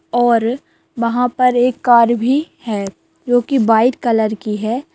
और वहाँ पे एक कार भी है जो कि व्हाइट कलर की है।